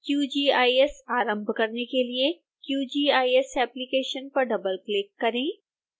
qgis आरंभ करने के लिए qgis एप्लिकेशन पर डबलक्लिक करें